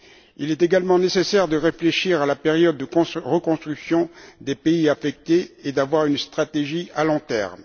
Il est également nécessaire de réfléchir à la période de reconstruction des pays touchés et d'avoir une stratégie à long terme.